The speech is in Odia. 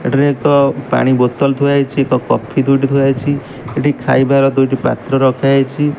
ଏଠାରେ ଏକ ପାଣି ବଟଲ ଥୁଆ ହେଇଛି କଫି ଦୁଇଟି ଥୁଆହେଇଛି ଏଠି ଖାଇବାର ଦୁଇଟି ପାତ୍ର ରଖା ଯାଇଛି।